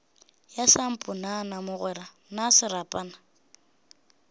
ya samponana mogwera na serapana